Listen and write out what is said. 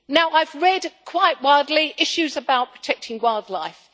I have read quite widely issues about protecting wildlife.